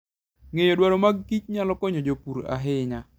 Ng'eyo dwaro mag kich nyalo konyo jopur ahinya.